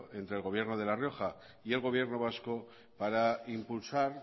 entre el gobierno de la rioja y el gobierno vasco para impulsar